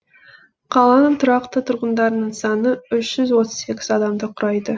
қаланың тұрақты тұрғындарының саны үш жүз отыз сегіз адамды құрайды